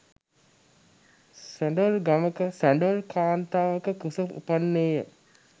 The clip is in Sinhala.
සැඬොල් ගමක සැඬොල් කාන්තාවක කුස උපන්නේය.